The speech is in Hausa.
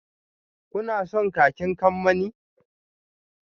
Kuna son kakin kamanni?